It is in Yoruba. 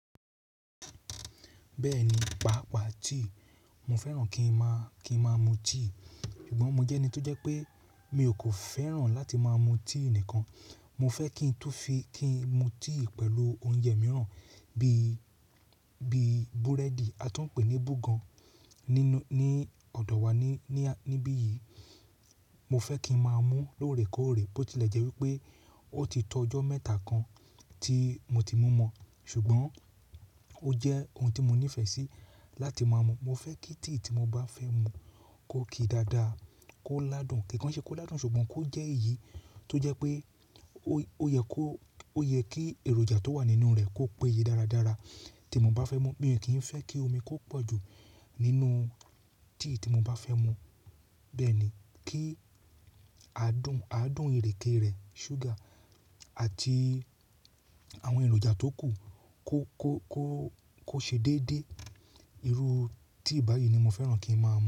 Bẹ́ẹ̀ni, pàápàá tea, mo fẹ́ràn kí ń máa, kí ń máa mú tea. Ṣùgbọ́n mo jẹ́ ẹni tó jẹ́ pé mi ò kó fẹ́ràn láti máa mú tea nìkan. Mo fẹ́ kí n tú fi, kí n mú tea pẹ̀lú oúnjẹ mìíràn bí, bí búrẹ́dì a tó ń pè ní búgàn nínu, ní ọ̀dọ̀ wa ní, ní, níbí yìí. Mo fẹ́ kí ń máa mú lóòrèkóòrè bó tilẹ̀ jẹ́ wípé ó ti to ọjọ́ mẹ́ta kan tí mo ti mú mọ, ṣùgbọ́n ó jẹ́ ohun tí mo nífẹ̀ẹ́ sí láti máa mú. Mo fẹ́ kí tea tí mo bá fẹ́ mú kó ki dáadáa, kó ládùn, kì í kan ṣe kó ládùn ṣùgbọ́n kó jẹ́ èyí tó jẹ́ pé ó yẹ kó, ó yẹ kí èròjà tó wà nínú rẹ̀ kó péye dáradára tí mo bá fẹ́ mú. Mi ò kí ń fẹ́ kí omi kó pọ̀ jù nínú tea tí mo bá fẹ́ mú. Bẹ́ẹ̀ ni, kí adùn, adùn ìrèké rẹ̀, ṣúgà àti àwọn èròjà tó kù kó, kó, kó, kó ṣe déédé. Irú tea báyìí ni mo fẹ́ràn kí ń máa mú.